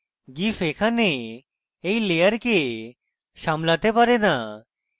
gif এখানে এই layers সামলাতে পারে না